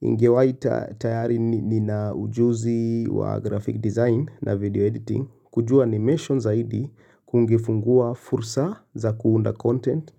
Ingewaia tayari nina ujuzi wa graphic design na video editing kujua animation zaidi kungefungua fursa za kuunda content.